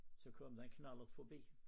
Så kom der en knallert forbi